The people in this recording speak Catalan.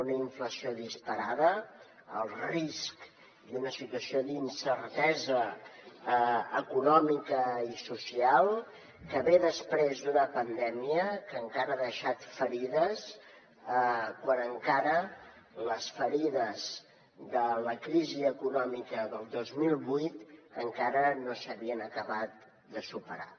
una inflació disparada el risc i una situació d’incertesa econòmica i social que ve després d’una pandèmia que encara ha deixat ferides quan les ferides de la crisi econòmica del dos mil vuit encara no s’havien acabat de superar